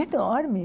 Enorme.